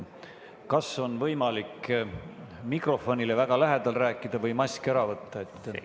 Kas on võimalik mikrofonile väga lähedal rääkida või mask ära võtta?